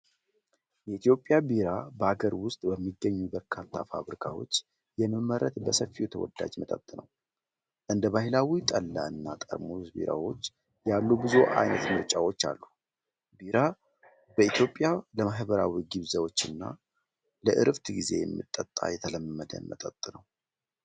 የኢትዮጵያ ቢራ በአገር ውስጥ በሚገኙ በርካታ ፋብሪካዎች የሚመረት በሰፊው ተወዳጅ መጠጥ ነው። እንደ ባሕላዊው ጠላ እና ጠርሙስ ቢራዎች ያሉ ብዙ ዓይነት ምርጫዎች አሉ። ቢራ በኢትዮጵያ ለማኅበራዊ ግብዣዎችና ለዕረፍት ጊዜ የሚጠጣ የተለመደ መጠጥ ነው።